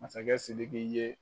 Masakɛ SIDIKI ye.